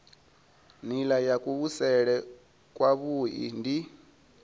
nila ya kuvhusele kwavhui ndi